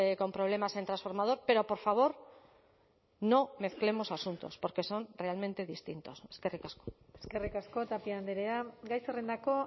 con problemas en transformador pero por favor no mezclemos asuntos porque son realmente distintos eskerrik asko eskerrik asko tapia andrea gai zerrendako